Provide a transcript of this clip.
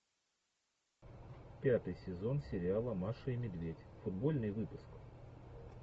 пятый сезон сериала маша и медведь футбольный выпуск